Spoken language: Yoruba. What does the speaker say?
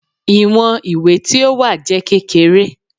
Iwọn iwe ti o wa jẹ kekere